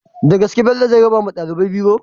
Dagaske bello zai rabawa ɗalibai biro?